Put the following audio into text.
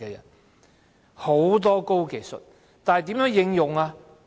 有很多高技術，但如何應用？